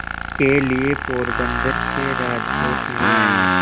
के लिए पोरबंदर से राजकोट ले आए